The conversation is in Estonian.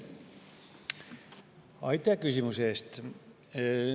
Aitäh küsimuse eest!